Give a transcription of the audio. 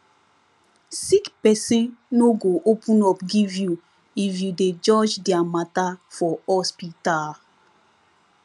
sick pesin no go open up give you if you dey judge dia mata for hospital